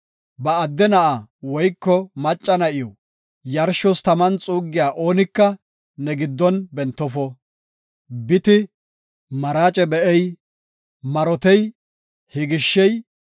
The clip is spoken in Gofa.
Ba adde na7aa woyko macca na7iw yarshos taman xuuggiya oonika ne giddon bentofo. Biti, maraace be7ey, marotey, higishey,